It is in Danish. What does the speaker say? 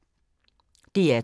DR2